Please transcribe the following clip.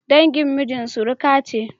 dangin miji suruka ce